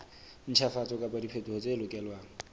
ntjhafatso kapa diphetoho tse lokelwang